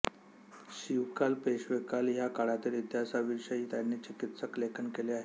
शिवकाल पेशवेकाल ह्या काळातील इतिहासाविषयी त्यांनी चिकित्सक लेखन केले आहे